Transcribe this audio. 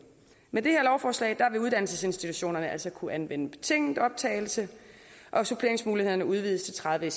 med det her lovforslag vil uddannelsesinstitutionerne altså kunne anvende betinget optagelse og suppleringsmulighederne udvides til tredive